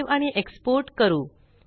save आणि export करू